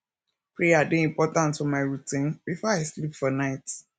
prayer dey important for my routine before i sleep for night